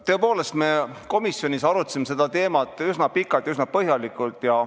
Tõepoolest, me arutasime komisjonis seda teemat üsna pikalt ja põhjalikult.